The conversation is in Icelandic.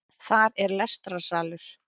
Þar er lestrarsalur